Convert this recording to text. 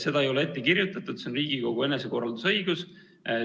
Seda ei ole ette kirjutatud, see on Riigikogu enesekorraldusõigus.